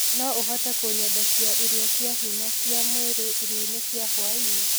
no ũhote kunyendekia ĩrĩo cĩa hinya cĩa mwiri ĩrĩo-ĩnĩ cĩa hwaĩnĩ